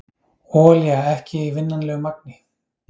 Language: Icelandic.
Olía ekki í vinnanlegu magni